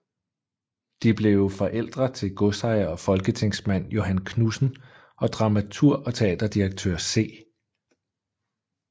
De blev forældre til godsejer og folketingsmand Johan Knudsen og dramaturg og teaterdirektør C